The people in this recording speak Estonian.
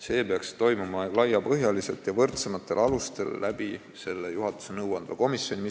See peaks toimuma laiapõhjaliselt ja võrdsematel alustel selle juhatusele nõuandva komisjoni kaudu.